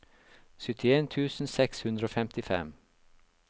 syttien tusen seks hundre og femtifem